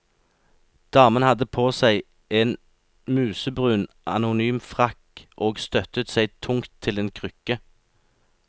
Damen hadde på seg en musebrun, anonym frakk, og støttet seg tungt til en krykke.